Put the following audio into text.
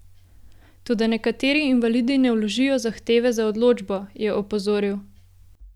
Toda nekateri invalidi ne vložijo zahteve za odločbo, je opozoril.